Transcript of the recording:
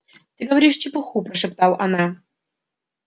ты говоришь чепуху прошептал она